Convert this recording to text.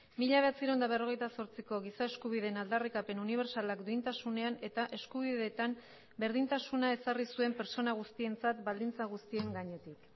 mila bederatziehun eta berrogeita zortziko giza eskubideen aldarrikapen unibertsalak duintasunean eta eskubideetan berdintasuna ezarri zuen pertsona guztientzat baldintza guztien gainetik